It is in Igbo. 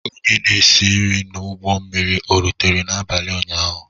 Onye na esi nri n'ụgbọ mmiri ọ rutere n'abalị ụnyaahụ?